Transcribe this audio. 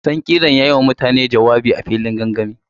Sankirar ya yi wa mutane jawabi a filin gangami.